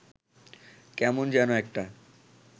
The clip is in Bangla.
কেমন যেন একটা